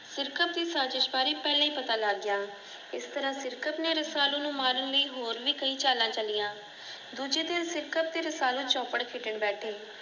ਸਿਰਕਤ ਦੀ ਸਾਜ਼ਿਸ ਬਾਰੇ ਪਹਿਲਾਂ ਹੀ ਪਤਾ ਲੱਗ ਗਿਆ ਉਸ ਤਰ੍ਹਾਂ ਸਿਰਕਤ ਨੇ ਰਸਾਲੂ ਨੂੰ ਮਾਰਨ ਲਈ ਹੋਰ ਵਿ ਕਈ ਚਾਲਾਂ ਚਲੀਆਂ ਦੂਜੇ ਦਿਨ ਸਿਰਕਤ ਤੇ ਰਸਾਲੂ ਚੌਪੜ ਖੇਡਣ ਬੈਠੇ